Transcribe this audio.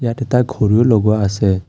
এটা ঘড়ীও লগোৱা আছে।